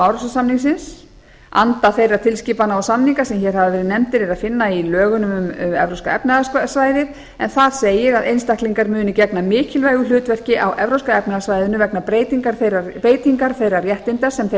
árósasamningsins anda þeirra tilskipana og samninga er að finna í lögunum um evrópska efnahagssvæðið en þar segir að einstaklingar munu gegna mikilvægu hlutverki á evrópska efnahagssvæðinu vegna breytingar þeirra réttinda sem þeir